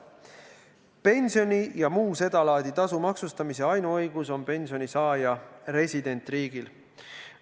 Pensioni ja muu sedalaadi tasu maksustamise ainuõigus on pensionisaaja residentriigil.